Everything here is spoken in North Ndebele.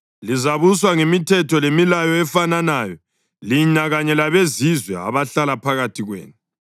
Lizabuswa ngemithetho lemilayo efananayo lina kanye labezizwe abahlala phakathi kwenu.’ ”